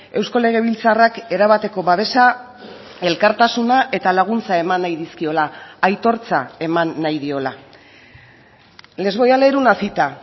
eusko legebiltzarrak erabateko babesa elkartasuna eta laguntza eman nahi dizkiola aitortza eman nahi diola les voy a leer una cita